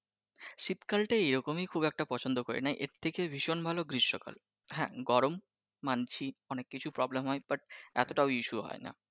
শীতকাল টা এইরকমই খুব একটা পছন্দ করি নাহ এর থেকে ভীষন ভালো গ্রীষ্মকাল. । হ্যাঁ গরম মানছি অনেক কিছু problem হয় but এতটাও issue হয়নাG